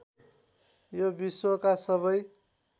यो विश्वका सबै